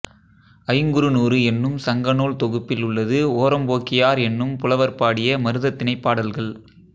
ஐங்குறுநூறு என்னும் சங்கநூல் தொகுப்பில் உள்ளது ஓரம்போகியார் என்னும் புலவர் பாடிய மருதத்திணைப் பாடல்கள்